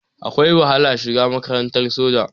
Akwai wahala shiga makarantar soja.